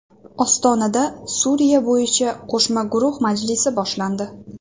Ostonada Suriya bo‘yicha qo‘shma guruh majlisi boshlandi.